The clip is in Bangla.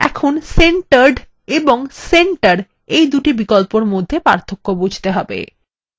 এখন centered এবং centre এই দুটি বিকল্পের মধ্যে পার্থক্য বুঝতে হবে